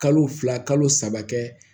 Kalo fila kalo saba kɛ